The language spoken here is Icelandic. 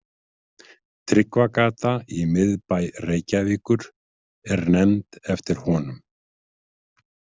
Tryggvagata í miðbæ Reykjavíkur er nefnd eftir honum.